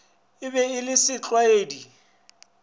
e be e le setlwaedi